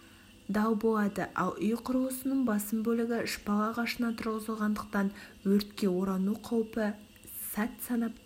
дал болады ал үй құрылысының басым бөлігі шпал ағашынан тұрғызылғандықтан өртке орану қаупі сәт санап